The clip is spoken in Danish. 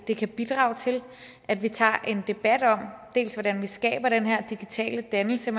det kan bidrage til at vi tager en debat om hvordan vi skaber den her digitale dannelse